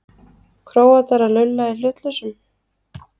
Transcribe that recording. Króatar að lulla í hlutlausum?